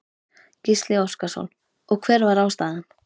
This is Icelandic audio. Gísli Óskarsson: Og hver var ástæðan?